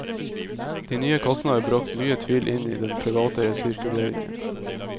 De nye kassene har bragt mye tvil inn i den private resirkuleringen.